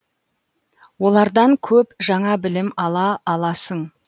олардан көп жаңа білім ала аласың